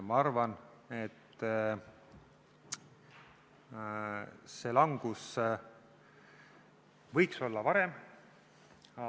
Ma arvan, et see langus võiks tulla varem.